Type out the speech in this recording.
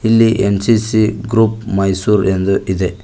ಇಲ್ಲಿ NCC group Mysore ಎಂದು ಇದೆ.